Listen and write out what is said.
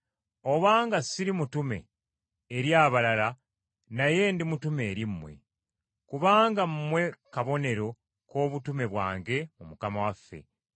Obanga ssiri mutume eri abalala, naye ndi mutume eri mmwe, kubanga mmwe kabonero k’obutume bwange mu Mukama waffe.